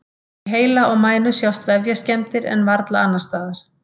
Í heila og mænu sjást vefjaskemmdir en varla annars staðar.